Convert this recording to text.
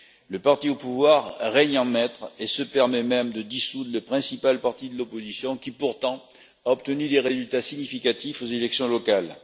Le parti au pouvoir règne en maître et se permet même de dissoudre le principal parti de l'opposition, qui pourtant a obtenu des résultats significatifs aux élections locales.